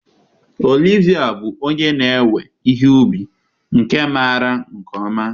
Olivia bụ onye na-ewe ihe ubi nke maara nke ọma.